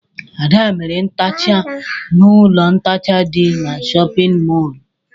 Ada mere ntecha n'ụlọ ntecha dị n'shóppin mol.